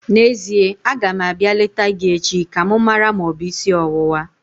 N'ezie, aga m abịa leta gị echi ka m mara ma ọ bụ isi ọwụwa